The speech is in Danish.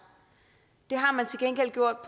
det har man til gengæld gjort